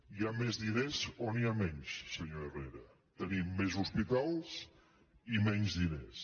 hi ha més diners o n’hi ha menys senyor herrera tenim més hospitals i menys diners